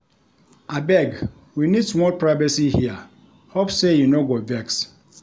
Abeg, we need small privacy here, hope sey you no go vex.